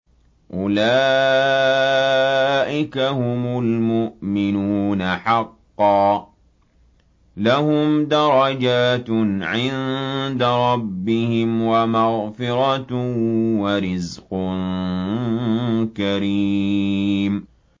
أُولَٰئِكَ هُمُ الْمُؤْمِنُونَ حَقًّا ۚ لَّهُمْ دَرَجَاتٌ عِندَ رَبِّهِمْ وَمَغْفِرَةٌ وَرِزْقٌ كَرِيمٌ